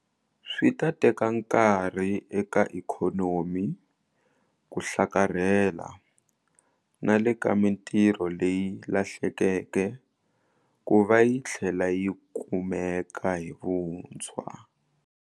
Swi ta teka nkarhi eka ikhonomi ku hlakarhela na le ka mitirho leyi lahlekeke ku va yi tlhela yi kumeka hi vuntshwa.